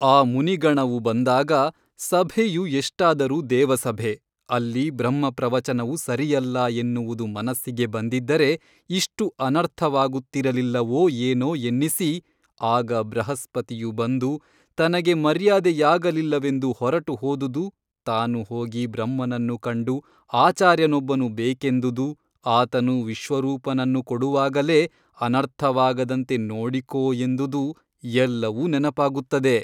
ಆ ಮುನಿಗಣವು ಬಂದಾಗ ಸಭೆಯು ಎಷ್ಟಾದರೂ ದೇವಸಭೆ ಅಲ್ಲಿ ಬ್ರಹ್ಮಪ್ರವಚನವು ಸರಿಯಲ್ಲ ಎನ್ನುವುದು ಮನಸ್ಸಿಗೆ ಬಂದಿದ್ದರೆ ಇಷ್ಟು ಅನರ್ಥವಾಗುತ್ತಿರಲಿಲ್ಲವೋ ಏನೊ ಎನ್ನಿಸಿ ಆಗ ಬೃಹಸ್ಪತಿಯು ಬಂದು ತನಗೆ ಮರ್ಯಾದೆಯಾಗಲಿಲ್ಲವೆಂದು ಹೊರಟುಹೊದುದು ತಾನು ಹೋಗಿ ಬ್ರಹ್ಮನನ್ನು ಕಂಡು ಆಚಾರ್ಯನೊಬ್ಬನು ಬೇಕೆಂದುದು ಆತನು ವಿಶ್ವರೂಪನನ್ನು ಕೊಡುವಾಗಲೇ ಅನರ್ಥವಾಗದಂತೆ ನೋಡಿಕೋ ಎಂದುದು ಎಲ್ಲವೂ ನೆನಪಾಗುತ್ತದೆ.